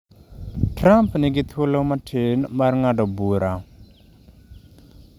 Trump nigi thuolo matin mar ng’ado bura.